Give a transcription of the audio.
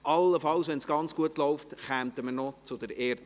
allenfalls, wenn es gut läuft, kommen wir noch zur ERZ.